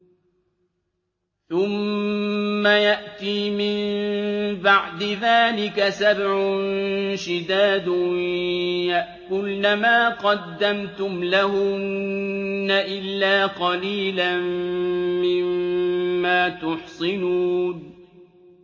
ثُمَّ يَأْتِي مِن بَعْدِ ذَٰلِكَ سَبْعٌ شِدَادٌ يَأْكُلْنَ مَا قَدَّمْتُمْ لَهُنَّ إِلَّا قَلِيلًا مِّمَّا تُحْصِنُونَ